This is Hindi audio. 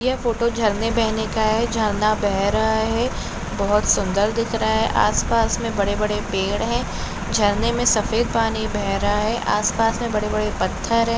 यह फ़ोटो झरने बहने का है झरना बह रहा है बहुत सुंदर दिख रहा है आस-पास मे बड़े-बड़े पैड है झरने मे सफेद पानी बह रहा है आस-पास मे बड़े-बड़े पत्थर है।